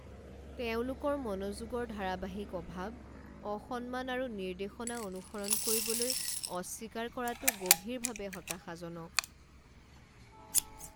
তেওঁলোকৰ মনোযোগৰ ধাৰাবাহিক অভাৱ, অসন্মান আৰু নিৰ্দেশনা অনুসৰণ কৰিবলৈ অস্বীকাৰ কৰাটো গভীৰভাৱে হতাশাজনক।